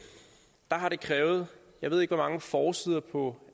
har det krævet jeg ved ikke hvor mange forsider på